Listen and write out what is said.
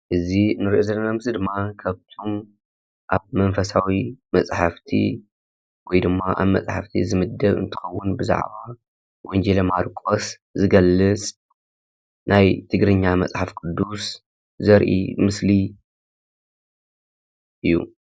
እዚ ንርኦ ዘለና ምስሊ ድማ ካብቶም ኣብ መንፈሳዊ መፃሕፍቲ ወይድማ ኣብ መፃሕፍቲ ዝምደብ እንትኸውን ብዛዕባ ወንጌላዊ ማርቆስ ዝገልፅ ናይ ትግርኛ መፅሓፍ ቅዱስ ዘርኢ ምስሊ እዩ።